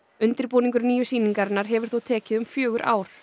undirbúningur nýju sýningarinnar hefur þó tekið um fjögur ár